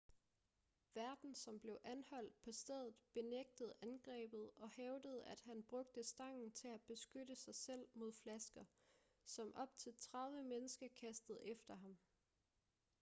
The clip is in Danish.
værten som blev anholdt på stedet benægtede angrebet og hævdede at han brugte stangen til at beskytte sig selv mod flasker som op til 30 mennesker kastede efter ham